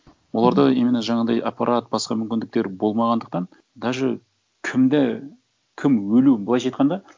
оларда именно жаңағындай аппарат басқа мүмкіндіктер болмағандықтан даже кімді кім өлуін былайша айтқанда